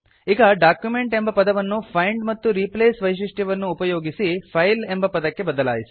ಈಗ ಡಾಕ್ಯುಮೆಂಟ್ ಎಂಬ ಪದವನ್ನು ಫೈಂಡ್ ಮತ್ತು ರೀಪ್ಲೇಸ್ ವೈಶಿಷ್ಟ್ಯವನ್ನುಪಯೋಗಿಸಿ ಫೈಲ್ ಎಂಬ ಪದಕ್ಕೆ ಬದಲಾಯಿಸಿ